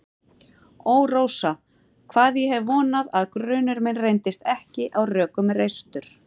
Ó, Rósa, hvað ég hef vonað að grunur minn reyndist ekki á rökum reistur.